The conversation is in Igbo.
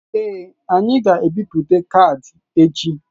Ee, anyị ga-ebipụta kaadị echi.